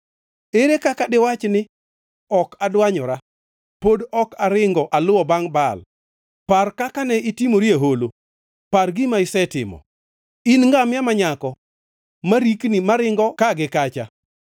“Ere kaka diwachi ni, ‘Ok adwanyora; pod ok aringo aluwo bangʼ Baal?’ Par kaka ne itimori e holo; par gima isetimo. In ngamia ma nyako ma rikni maringo ka gi kacha,